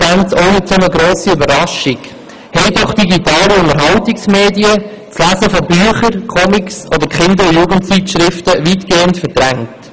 Eigentlich ist aber eine abnehmende Lesekompetenz keine grosse Überraschung, haben doch digitale Unterhaltungsmedien das Lesen von Büchern, Comics oder Kinder- und Jugendzeitschriften weitgehend verdrängt.